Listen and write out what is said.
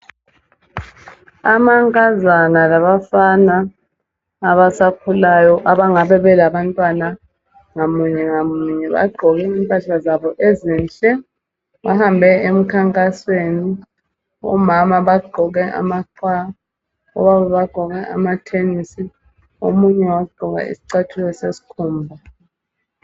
Amankazana labafana abasakhulayo abangabe belabantwana ngamunye ngamunye bagqoke impahla zabo ezinhle bahambe emkhankansweni omama bagqoke amaqwa obaba bagqoke amathenisi omunye wagqoka iscathulo seskhumba